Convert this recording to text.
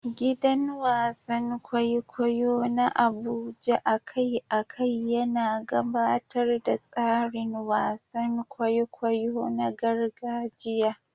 Gidan wasan kwaikwayo na Abuja a kai a kai yana gabatar da tsarin wasan kwaikwayo na gargajiya.